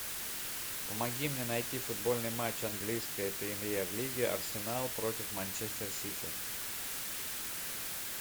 помоги мне найти футбольный матч английской премьер лиги арсенал против манчестер сити